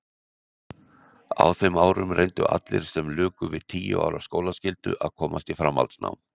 Á þeim árum reyndu allir sem luku við tíu ára skólaskyldu að komast í framhaldsnám.